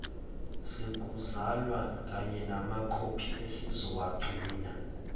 sokuzalwa kanyenamakhophi esizowagcina